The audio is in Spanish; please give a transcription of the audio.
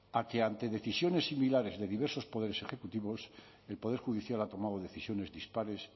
a que ante decisiones similares de diversos poderes ejecutivos el poder judicial ha tomado decisiones dispares